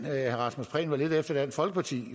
herre rasmus prehn var efter dansk folkeparti